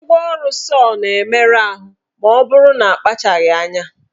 Ngwaọrụ sọọ na-emerụ ahụ maọbụrụ na akpachaghị anya.